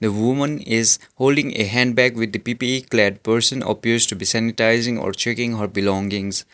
women is holding a handbag with person appears to be sanitizing or checking her belongings.